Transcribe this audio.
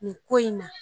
Nin ko in na